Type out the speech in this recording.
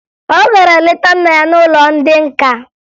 Ọ gara leta nna ya n'ụlọ ndị nka